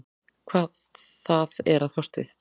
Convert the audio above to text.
Hvað það er að fást við.